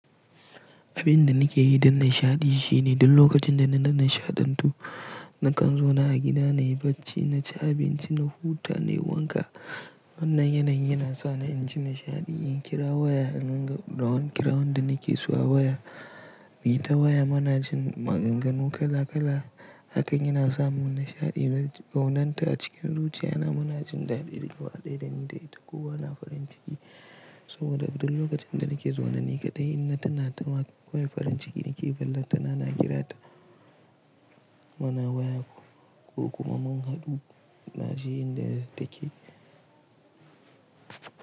Abin da nake yi don nishaɗi shine duk lokacin da na nishaɗantu, nakan zauna a gida na yi bacci, na ci abinci, na huta na yi wanka. Wannan yanayi yana sa ni in ji nishaɗi. In kira waya, don kira wanda nake so a waya, mu yi ta waya munajin maganganu kala kala. Hakan yana sa mun nishaɗi. Kaunanta a cikin zuciyana muna jin daɗi, duk gaba daya dani da ita. Ko wa na farin ciki. Saboda duk lokacin da nake zaune ni kaɗai, in na tuna ta, ko wayar farin ciki nake fallata na na kirata. Muna waya ko kuma mun haɗu, na je inda take.